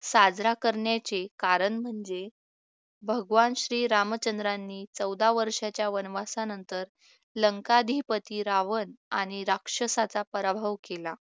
साजरा करण्याचे कारण म्हणजे भगवान श्रीरामचंद्रांनी चौदा वर्षाच्या वनवासानंतर लंकाधिपती रावण आणि राक्षसाचा पराभव केला